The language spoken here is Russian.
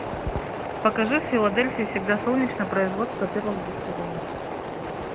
покажи в филадельфии всегда солнечно производство первых двух сезонов